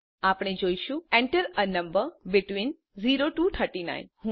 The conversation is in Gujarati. આપણે જોઈશુંEnter એ નંબર બેટવીન 0 ટીઓ 39